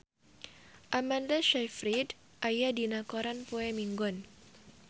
Amanda Sayfried aya dina koran poe Minggon